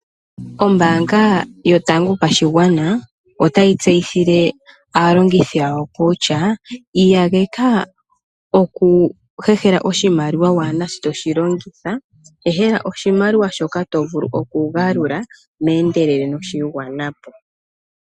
Ombaanga yotango yopashigwana otayi tseyithile aalongithi yawo kutya iyageka oku hehela oshimaliwa waana shoka to shi longitha. Hehela oshimaliwa shoka to vulu okugalula meendelelo nosha igwana po.